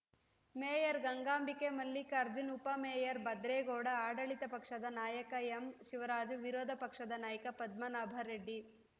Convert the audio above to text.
mayor Gangambike Mallikarjun ಉಪ mayor Bhadregowda ಆಡಳಿತ ಪಕ್ಷದ ನಾಯಕ ಎಂಶಿವರಾಜು ವಿರೋಧ ಪಕ್ಷದ ನಾಯಕ ಪದ್ಮನಾಭ ರೆಡ್ಡಿ